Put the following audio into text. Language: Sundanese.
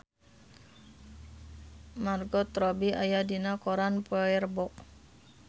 Margot Robbie aya dina koran poe Rebo